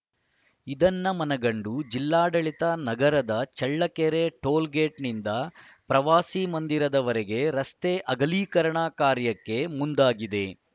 ಇದನ್ನು ಮನಗಂಡು ಜಿಲ್ಲಾಡಳಿತ ನಗರದ ಚಳ್ಳಕೆರೆ ಟೋಲ್‌ಗೇಟ್‌ನಿಂದ ಪ್ರವಾಸಿ ಮಂದಿರದವರೆಗೆ ರಸ್ತೆ ಅಗಲೀಕರಣ ಕಾರ್ಯಕ್ಕೆ ಮುಂದಾಗಿದೆ